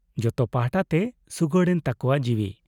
ᱡᱚᱛᱚ ᱯᱟᱦᱴᱟ ᱛᱮ ᱥᱩᱜᱟᱹᱲ ᱮᱱ ᱛᱟᱠᱚᱣᱟ ᱡᱤᱣᱤ ᱾